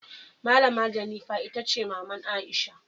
Malama Jennifer Itace maman Aisha.